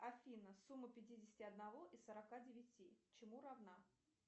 афина сумма пятидесяти одного и сорока девяти чему равна